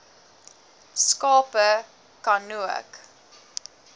skape ka nook